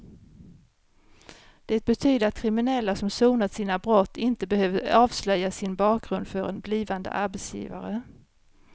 Det betyder att kriminella som sonat sina brott inte behöver avslöja sin bakgrund för en blivande arbetsgivare.